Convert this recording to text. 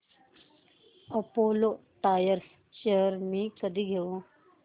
Apollo Tyres shares मी कधी घेऊ